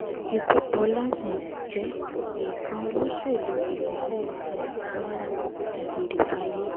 lkú bọlá um jẹ́ eekan olóṣèlú ìpínlẹ̀ um kwara dágbéré fáyé